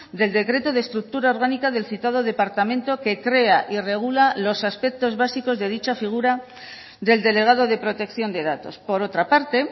del decreto de estructura orgánica del citado departamento que crea y regula los aspectos básicos de dicha figura del delegado de protección de datos por otra parte